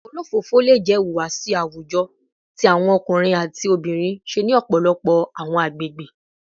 Olofofo le jẹ ihuwasi awujọ ti awọn ọkunrin ati obinrin ṣe ni ọpọlọpọ awọn agbegbe